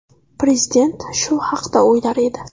Prezident shu haqda o‘ylar edi.